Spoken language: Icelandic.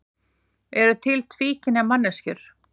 Eru til tvíkynja manneskjur?